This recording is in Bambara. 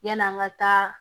Yann'an ka taa